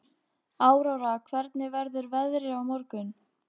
Áróra, hvernig verður veðrið á morgun?